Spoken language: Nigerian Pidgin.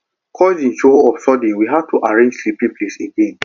cousin show up sudden we had to arrange sleeping place again